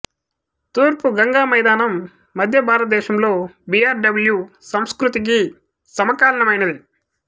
తూర్పు గంగా మైదానం మధ్య భారతదేశంలో బి ఆర్ డబల్యూ సంస్కృతికి సమకాలీనమైనది